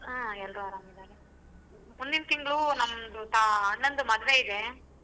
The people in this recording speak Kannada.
ಹಾ ಎಲ್ರೂ ಅರಾಮ್ ಇದಾರೆ ಮುಂದಿನ ತಿಂಗ್ಳು ನಮ್ದ ತಾ~ ಅಣ್ಣಂದು ಮದ್ವೆ ಇದೆ.